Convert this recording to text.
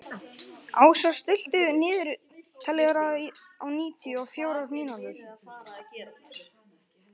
Ásar, stilltu niðurteljara á níutíu og fjórar mínútur.